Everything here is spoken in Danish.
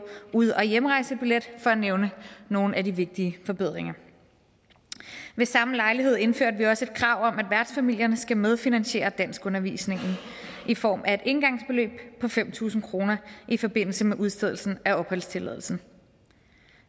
ud og hjemrejsebillet for at nævne nogle af de vigtige forbedringer ved samme lejlighed indførtes et krav om at værtsfamilierne skal medfinansiere danskundervisningen i form af et engangsbeløb på fem tusind kroner i forbindelse med udstedelse af opholdstilladelse